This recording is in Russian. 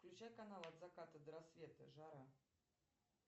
включай канал от заката до рассвета жара